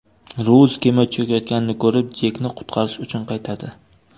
Rouz kema cho‘kayotganini ko‘rib, Jekni qutqarish uchun qaytadi.